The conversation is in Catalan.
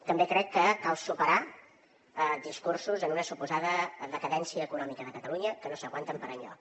també crec que cal superar discursos d’una suposada decadència econòmica de catalunya que no s’aguanten per enlloc